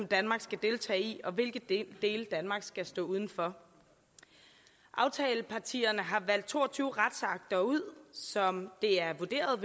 danmark skal deltage i og hvilke dele danmark skal stå udenfor aftalepartierne har valgt to og tyve retsakter ud som det er vurderet